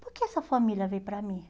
Por que essa família veio para mim?